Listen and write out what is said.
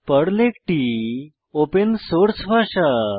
Perl একটি open source ভাষা